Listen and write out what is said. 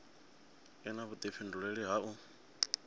i na vhudifhinduleli ha u